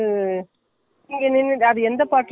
சீலை கட்டி இருப்பங்கள்ல அந்த சேலையும் கொடுத்துட்டாங்க.